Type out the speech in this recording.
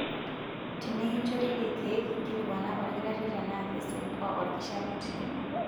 Tenikinchori ilkeek, nkilikuana olkitarri tenaa keisumbua olkishamiet lino.